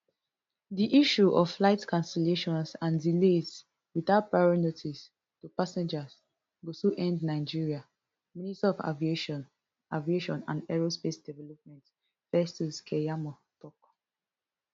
di issue of flight cancellations and delays without prior notice to passengers go soon end nigeria minister of aviation aviation and aerospace development festus keyamo tok